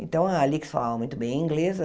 Então, a Alix falava muito bem inglês.